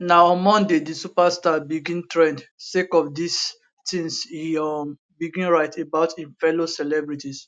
na on monday di superstar begin trend sake of di tins e um begin write about im fellow celebrities